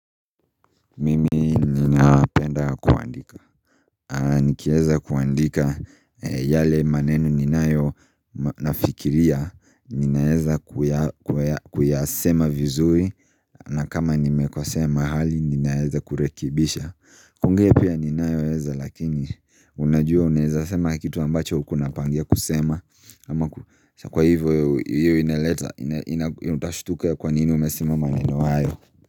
Mimi ninapenda kuandika. Nikieza kuandika yale maneno ninayo, nafikiria. Ninaeza kuyasema vizuri na kama nimekosea mahali ninaeza kurekebisha. Kuongea pia ninayoeza lakini unajua unaeza sema kitu ambacho hukuwa unapangia kusema. Ama kushakuwa. Kwa hivyo hiyo ineleta, utashtuka kwa nini umesema maneno hayo.